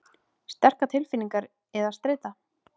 Sterkar tilfinningar eða streita.